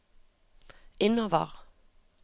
innover